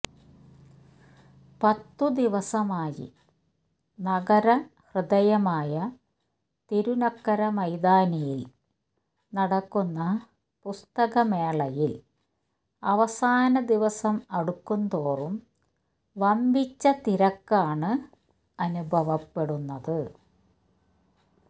പത്ത് ദിവസമായി നഗര ഹൃദയമായ തിരുനക്കര മൈതാനിയില് നടക്കുന്ന പുസ്തക മേളയില് അവസാന ദിവസം അടുക്കുന്തോറും വമ്പിച്ച തിരക്കാണ് അനുഭവപ്പെടുന്നത്